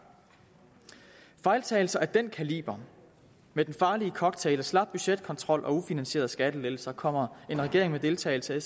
fejltagelser af den kaliber med den farlige cocktail af slap budgetkontrol og ufinansierede skattelettelser kommer en regering med deltagelse af